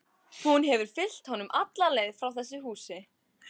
Hún hefur fylgt honum alla leið frá þessu húsi.